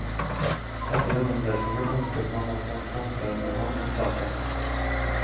Etter gjennomlesningen ønsket man å få en samtale med ham om saken.